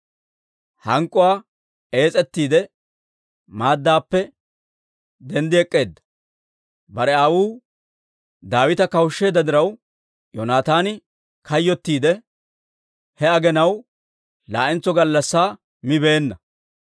Hank'k'uwaa ees'etiide maaddappe denddee ek'k'eedda; bare aawuu Daawita kawushsheedda diraw Yoonataani kayyottiide, he aginaw laa'entso gallassaa mibeenna.